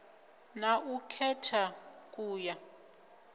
na u khetha ku ya